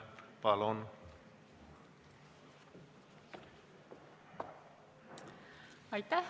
Palun!